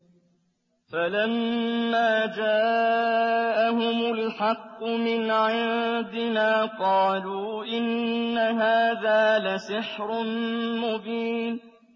فَلَمَّا جَاءَهُمُ الْحَقُّ مِنْ عِندِنَا قَالُوا إِنَّ هَٰذَا لَسِحْرٌ مُّبِينٌ